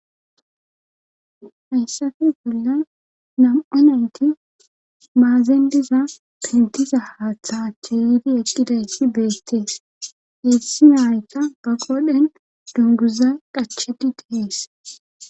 hayssafi bolla nam'a nayti maazen diza pintiza haaththaachche yiidi eqqidayti beettees issi nayka ba qodhen dunguza qachedi dees